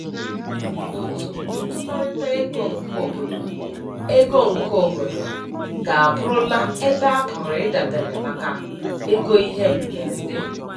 Otu ntụkọrịta ego nke obodo ego nke obodo ga abụrụla ebe a pụrụ idabere maka ego ihe mberede.